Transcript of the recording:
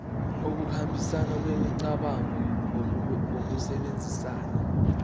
ukuhambisana kwemicabango ngokusebenzisa